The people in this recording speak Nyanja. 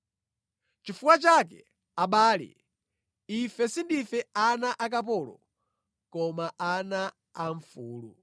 Chifukwa chake, abale, ife sindife ana akapolo, koma ana a mfulu.